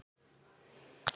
Hvern hefði grunað þetta?